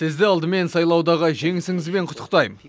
сізді алдымен сайлаудағы жеңісіңізбен құттықтайм